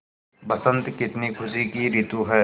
बसंत कितनी खुशी की रितु है